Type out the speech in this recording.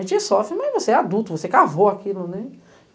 A gente sofre, mas você é adulto, você cavou aquilo, né?